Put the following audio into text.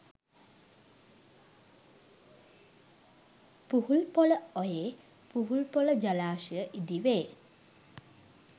පුහුල්පොළ ඔයේ පුහුල්පොළ ජලාශය ඉදි වේ